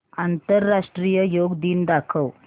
आंतरराष्ट्रीय योग दिन दाखव